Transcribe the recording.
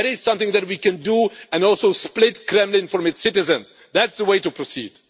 There is something that we can do and also split the Kremlin from its citizens. That is the way to proceed.